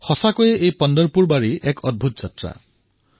সঁচাকৈয়ে পণ্টৰপুৰৰ ৱাৰী এক অতুলনীয় যাত্ৰা